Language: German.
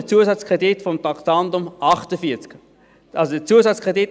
Deshalb der Zusatzkredit gemäss Traktandum 48.